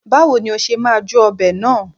Báwo ni ó ṣe máa jó ọbẹ̀ náà?